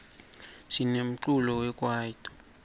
sinemculo we kwayito